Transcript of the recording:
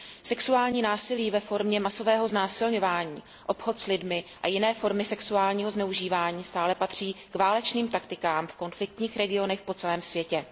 Sexuální násilí ve formě masového znásilňování, obchod s lidmi a jiné formy sexuálního zneužívání stále patří k válečným taktikám v konfliktních regionech po celém světě.